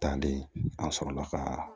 Talen an sɔrɔla ka